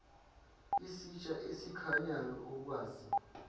isitsha esikhanyayo okwazi